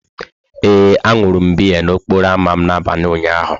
Ee, aṅụrụ m biya n'okporo ámá m n'abalị ụnyaahụ.